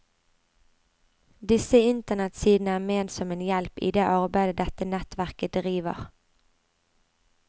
Disse internettsidene er ment som en hjelp i det arbeidet dette nettverket driver.